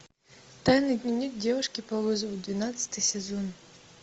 тайный дневник девушки по вызову двенадцатый сезон